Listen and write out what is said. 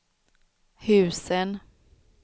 husen